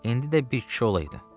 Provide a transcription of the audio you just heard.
İndi də bir kişi olaydın.